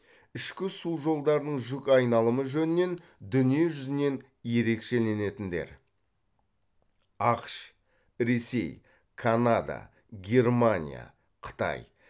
ішкі су жолдарының жүк айналымы жөнінен дүние жүзінен ерекшеленетіндер ақш ресей канада германия қытай